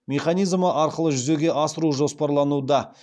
механизмі арқылы жүзеге асыру жоспарлануда